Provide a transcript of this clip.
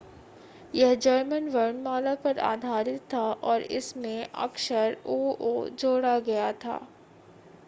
यह जर्मन वर्णमाला पर आधारित था और इस में एक अक्षर õ/õ” जोड़ा गया।